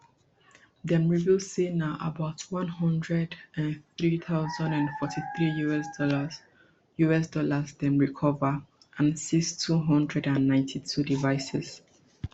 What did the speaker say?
dem reveal say na about one hundred and three thousand and forty-three us dollars us dollars dem recova and seize two hundred and ninety-two devices